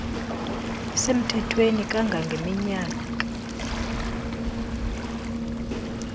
lisemthethweni kanga ngeminyaka